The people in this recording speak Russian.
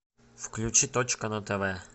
включи точка на тв